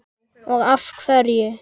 og af hverju?